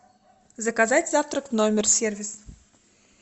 заказать завтрак в номер сервис